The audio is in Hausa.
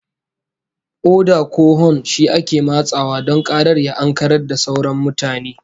Oda ko hon shi ake matsawa don karar ya ankarar da sauran mutane